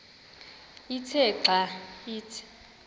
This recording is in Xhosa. ithe xa ithi